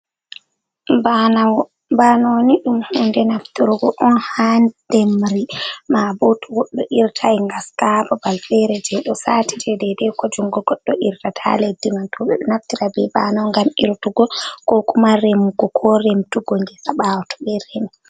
Banowo ,banowo ni, ɗum hunde nafturgo on haa demri. Mabo to goɗɗo irtay ngaska babal feere, jey ɗo saati deydey ko junngo goɗɗo irtata leddi man .To goɗɗo naftiray be banowo ngam irtugo ko kuma remugo ko remtugo ngesa ɓaawo to ɓe remi.